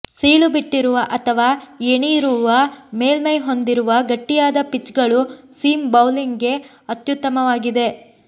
ಸೀಳುಬಿಟ್ಟಿರುವ ಅಥವಾ ಏಣಿರುವ ಮೇಲ್ಮೈ ಹೊಂದಿರುವ ಗಟ್ಟಿಯಾದ ಪಿಚ್ಗಳು ಸೀಮ್ ಬೌಲಿಂಗ್ಗೆ ಅತ್ಯುತ್ತಮವಾಗಿದೆ